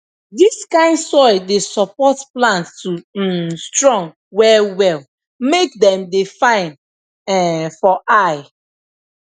dis kind soil dey support plant to um strong well well make dem dey fine um for eye